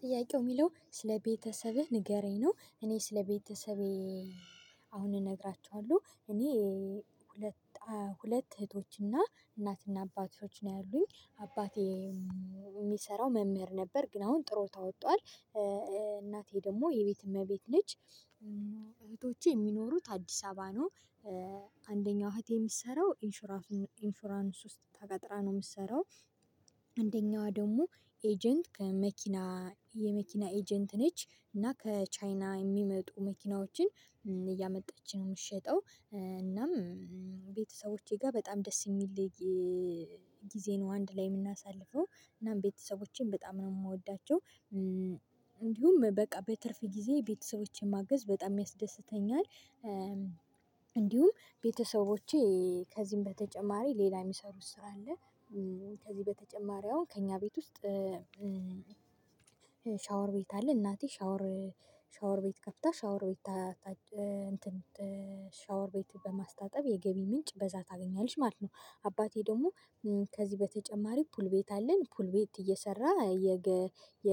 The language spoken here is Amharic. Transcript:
ጥያቄው የሚለው ስለ ቤተሰብህ ንገረኝ ነው? እኔ ስለ ቤተሰቤ አሁን እነግራችኋለሁ። እኔ ሁለት ሁለት እህቶችና እናትና አባቶች ነው ያሉኝ። አባቴ የሚሰራው መምህር ነበር ግን አሁን ጡረታ ወጥቷል። እናቴ ደግሞ የቤት እመቤት ነች። እህቶቼ የሚኖሩት አዲስ አበባ ነው። አንደኛው እህቴ የምትሰራው ኢንሹራንስ ውስጥ ተቀጥራ ነው የምትሰራው። አንደኛዋ ደግሞ ኤጀንት ከመኪና የመኪና ኤጀንት ነች እና ከቻይና የሚመጡ መኪናዎችን እያመጣች ነው የምትሸጠው። እናም ቤተሰቦቼ ጋር በጣም ደስ የሚል ጊዜ ነው። አንድ ላይ የምናሳልፈው እናም ቤተሰቦቼን በጣም ነው የምወዳቸው። እንዲሁም በቃ በትርፍ ጊዜ ቤተሰቦቼን ማገዝ በጣም ያስደስተኛል። እንዲሁም ቤተሰቦቼ ከዚህም በተጨማሪ ሌላ የሚሰሩት ስራ አለ። ከዚህ በተጨማሪ አሁን ከእኛ ቤት ውስጥ ሻወር ቤት አለ። እናቴ ሻወር ሻወር ቤት ከፍታ ሻወር ቤት ሻወር ቤት በማስታጠብ የገቢ ምንጭ በዛ ታገኛለች ማለት ነው። አባቴ ደግሞ ከዚህ በተጨማሪ ፑል ቤት አለን። ፑል ቤት እየሰራ የ የ